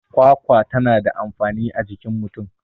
kwakwa tana da amfani a jikin mutum